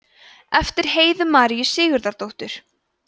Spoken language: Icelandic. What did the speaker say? eftir heiðu maríu sigurðardóttur